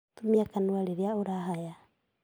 Tumia kanua rĩrĩa ũrahaya